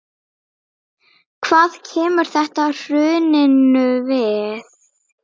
Hvað kemur þetta hruninu við?